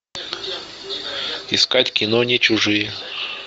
искать кино не чужие